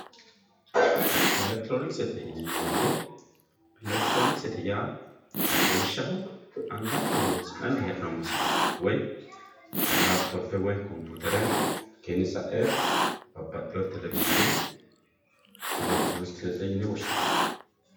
elektiroonikisete yineemo woyiite elektiroonikisete yaa lawishshaho anganke horonsi'nanni he'noomo silke woy laptope woy komputere hakiino sa'e babbaxiyoore televishiine kuri elektiroonikisete yine woshshinanni.